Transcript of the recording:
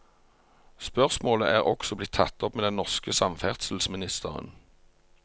Spørsmålet er også blitt tatt opp med den norske samferdselsministeren.